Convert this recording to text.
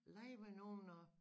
Lege med nogen og